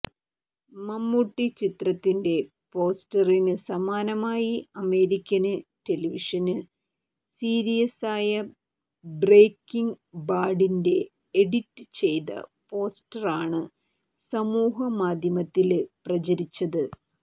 മമ്മൂട്ടി ചിത്രത്തിന്റെ പോസ്റ്ററിന് സമാനമായി അമേരിക്കന് ടെലിവിഷന് സീരീസായ ബ്രേക്കിങ് ബാഡിന്റെ എഡിറ്റ് ചെയ്ത പോസ്റ്ററണ് സമൂഹമാധ്യമത്തില് പ്രചരിച്ചത്